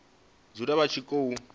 dzule vha tshi khou i